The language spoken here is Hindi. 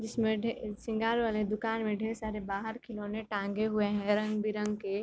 जिसमें ढेर सिंगार वाले दुकान में ढेर सारे बाहर खिलौने टांगे हुए हैं रंग-बिरंगे के --